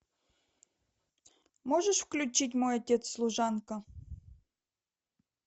можешь включить мой отец служанка